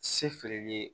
Se feereli ye